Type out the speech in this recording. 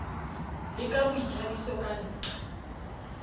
le ka boithabiso ka nqa